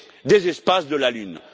des espaces de la Lune.